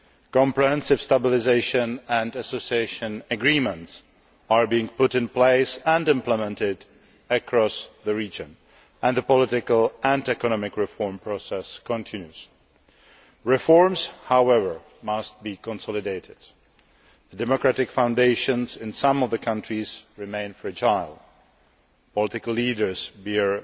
Comprehensive stabilisation and association agreements are being put in place and implemented across the region, and the political and economic reform process continues. Reforms, however, must be consolidated. The democratic foundations in some of the countries remain fragile. Political leaders bear